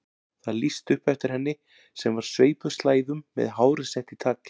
Það lýsti upp eftir henni sem var sveipuð slæðum með hárið sett í tagl.